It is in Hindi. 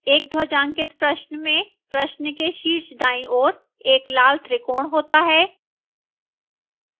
एक ध्वजांकित प्रश्न में प्रश्न के शीर्ष दाईं ओर एक लाल त्रिकोण होता है